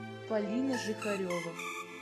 полина жихарева